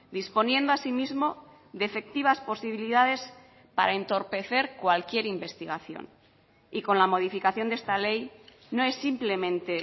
disponiendo asimismo de efectivas posibilidades para entorpecer cualquier investigación y con la modificación de esta ley no es simplemente